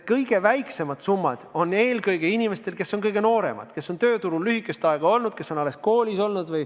Kõige väiksemad summad on põhiliselt inimestel, kes on kõige nooremad, kes on tööturul lühikest aega olnud või kes on alles koolis olnud.